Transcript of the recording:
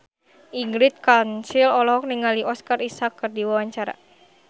Ingrid Kansil olohok ningali Oscar Isaac keur diwawancara